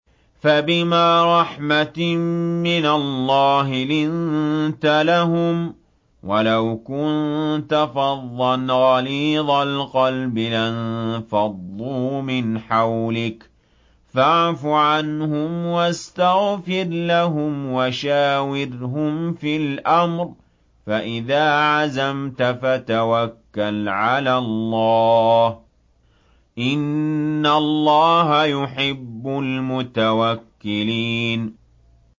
فَبِمَا رَحْمَةٍ مِّنَ اللَّهِ لِنتَ لَهُمْ ۖ وَلَوْ كُنتَ فَظًّا غَلِيظَ الْقَلْبِ لَانفَضُّوا مِنْ حَوْلِكَ ۖ فَاعْفُ عَنْهُمْ وَاسْتَغْفِرْ لَهُمْ وَشَاوِرْهُمْ فِي الْأَمْرِ ۖ فَإِذَا عَزَمْتَ فَتَوَكَّلْ عَلَى اللَّهِ ۚ إِنَّ اللَّهَ يُحِبُّ الْمُتَوَكِّلِينَ